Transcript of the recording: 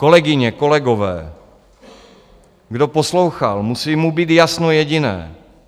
Kolegyně, kolegové, kdo poslouchal, musí mu být jasno jediné.